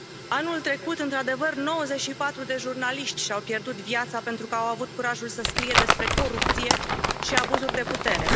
Anul trecut, într adevăr, 94 de jurnaliști și au pierdut viața pentru că au avut curajul să scrie despre corupție și abuzuri de putere.